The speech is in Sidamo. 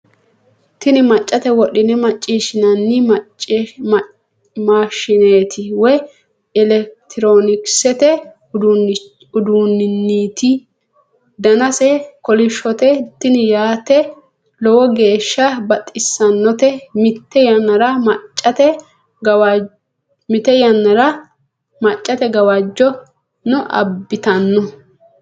tini mccate wodhine macciishshinanni maashshineeti woy elekitroonkisete uduunneeti danase kolishshote tini yaate lowo geeeshsha baxissannote mite yannara maccate gawajjono abbitanno